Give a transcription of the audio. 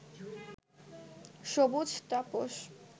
সবুজ তাপস